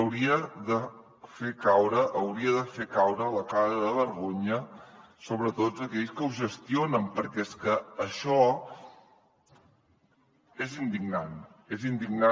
hauria de fer caure la cara de vergonya sobretot a aquells que ho gestionen perquè és que això és indignant és indignant